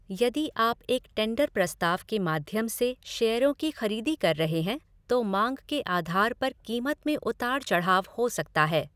यदि आप एक टेंडर प्रस्ताव के माध्यम से शेयरों की खरीदी कर रहे हैं, तो मांग के आधार पर कीमत में उतार चढ़ाव हो सकता है।